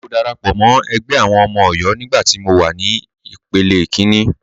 Mo darapọ̀ mọ́ ẹgbẹ́ àwọn ọmọ Ọ̀yọ́ nígbà tí mọ wà ní ìpele kíní.